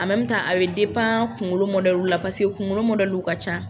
a bɛ kunkolo mɔdɛli, paseke kunkolo mɔdɛliw ka ca.